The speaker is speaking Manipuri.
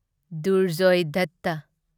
ꯗꯨꯔꯖꯣꯢ ꯗꯠꯇ